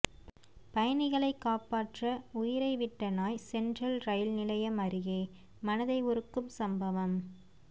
பயணிகளை காப்பாற்ற உயிரை விட்ட நாய் சென்ட்ரல் ரயில் நிலையம் அருகே மனதை உருக்கும் சம்பவம்